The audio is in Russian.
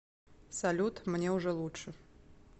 салют мне уже лучше